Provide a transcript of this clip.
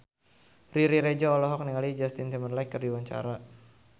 Riri Reza olohok ningali Justin Timberlake keur diwawancara